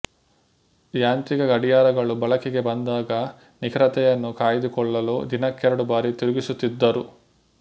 ಯಾಂತ್ರಿಕ ಗಡಿಯಾರಗಳು ಬಳಕೆಗೆ ಬಂದಾಗ ನಿಖರತೆಯನ್ನು ಕಾಯ್ದುಕೊಳ್ಳಲು ದಿನಕ್ಕೆರಡು ಬಾರಿ ತಿರುಗಿಸುತ್ತಿದ್ದರು